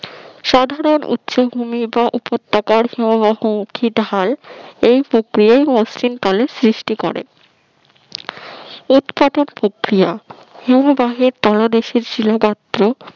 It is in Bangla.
সাধারণ উচ্চভূমি বা উপত্যকার হিমবাহ মুখী ঢাল এই প্রক্রিয়ায় মসৃণ কালের সৃষ্টি করে উৎকাটন প্রক্রিয়া হিমবাহর তলদেশের শিলা গর্ত